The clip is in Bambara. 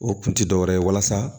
O kun ti dɔwɛrɛ ye walasa